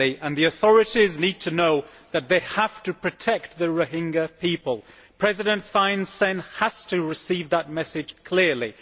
The authorities need to know that they have to protect the Rohingya people. President Thein Sein has to receive that message clearly.